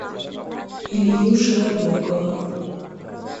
илью широбокова